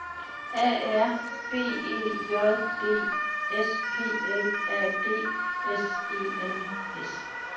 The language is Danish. A R B E J D S P L A D S E N S